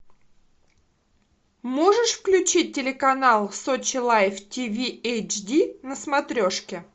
можешь включить телеканал сочи лайф ти ви эйч ди на смотрешке